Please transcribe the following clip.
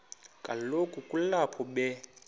kaloku kulapho be